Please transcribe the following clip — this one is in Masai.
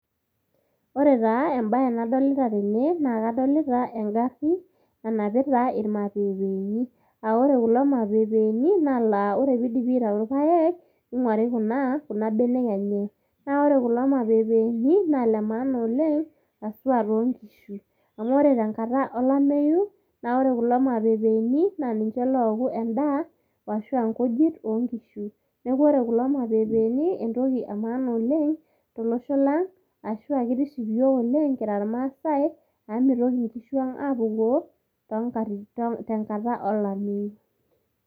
Ore taa embaye nadolita tene naa kadolita engarri nanapita irmapepeni aa ore kulo mapepeeni naa ore piidipi aitayu irpaek ning'uari kuna kuna benek enye, ore kulo mapeepeni naa ile maana oleng' haswa ilo nkishu am ore tenkata olameyu naa ore kulo mapepeeni naa ninche looku endaa ashu aa nkujit oonkishu neeku ore kulo mapepeeni entoki emaana oleng' tolosho lang' ashu aa kitiship iyiook oleng' kira irmaasai amu mitoki nkishuang' aapukoo tenkata olameyu.